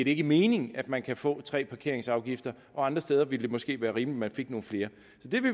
ikke mening at man kan få tre parkeringsafgifter og andre steder ville det måske være rimeligt fik nogle flere